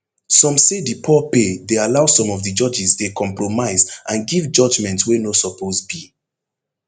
some say di poor pay dey allow some of di judges dey compromise and give judgement wey no suppose be